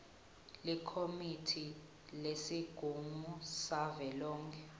likomiti lesigungu savelonkhe